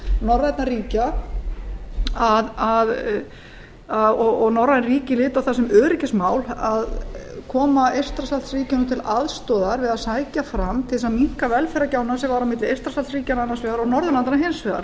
norrænna ríkja og norræn ríki líta á það sem öryggismál að koma eystrasaltsríkjunum til aðstoðar við að sækja fram til að minnka velferðargjána sem var á milli eystrasaltsríkjanna annars vegar og norðurlandanna hins vegar